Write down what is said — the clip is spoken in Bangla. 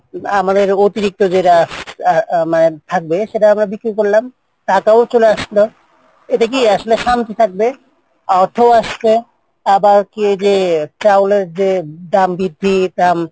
আমাদের অতিরিক্ত যেটা থাকবে সেটা বিক্রি করলাম টাকাও চলে আসলো এটা কি থাকবে অর্থও আসবে আবার কি যে চাউলের যে দাম বৃদ্ধি দাম,